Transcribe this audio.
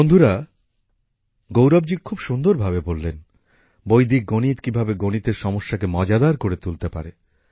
বন্ধুরা গৌরব জি খুব সুন্দর ভাবে বললেন বৈদিক গণিত কিভাবে গণিতের সমস্যাকে মজাদার করে তুলতে পারে